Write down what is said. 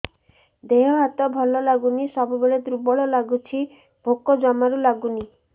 ଦେହ ହାତ ଭଲ ଲାଗୁନି ସବୁବେଳେ ଦୁର୍ବଳ ଲାଗୁଛି ଭୋକ ଜମାରୁ ଲାଗୁନି